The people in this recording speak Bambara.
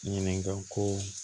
Ɲininka ko